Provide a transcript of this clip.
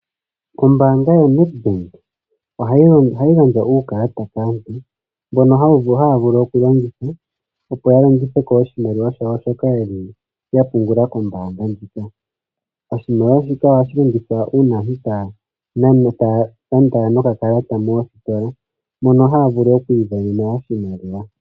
Ombanga yoNedbank ohayi gandja uukalata kaantu mbono haya vulu okulongitha yalongitheko oshimaliwa shawo shoka yapungula kombaanga ndjoka. Oshimaliwa shika ohashi longithwa uuna aantu taya nana nenge taya landa nokakalata moositola moka haya vulu okwiimonena oshimaliwa.